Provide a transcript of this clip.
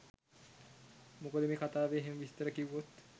මොකද මේ කතාවේ එහෙම විස්තර කිව්වොත්